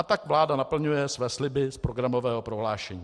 A tak vláda naplňuje své sliby z programového prohlášení.